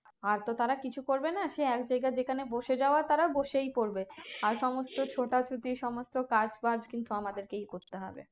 আর তো তারা কিছু করবে না সেই আগে যেখানে বসে যাওয়ার তারা বসেই পরবে আর সমস্ত ছোটা ছুটি সমস্ত কাজ বাজ কিন্তু আমাদের কেই করতে হবে